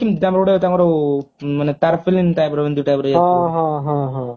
ଆମର ଗୋଟେ ତାଙ୍କର ମାନେ ତାରପିଲିନ type ର ଏମିତି type ର